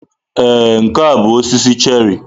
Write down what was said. Ee, nke a bụ osisi cherrị.